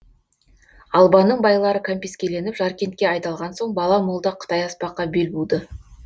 албанның байлары кәмпескеленіп жаркентке айдалған соң бала молда қытай аспаққа бел буды